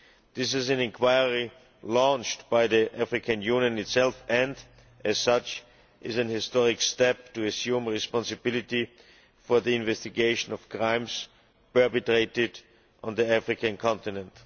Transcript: This is an inquiry launched by the African Union itself and as such is an historic step to assume responsibility for the investigation of crimes perpetrated on the African continent.